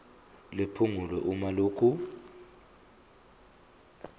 liphungulwe uma lokhu